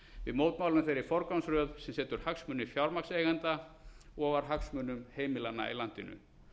við mótmælum þeirri forgangsröð sem setur hagsmuni fjármagnseigenda ofar hagsmunum heimilanna í landinu